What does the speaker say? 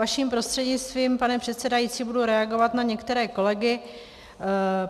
Vaším prostřednictvím, pane předsedající, budu reagovat na některé kolegy.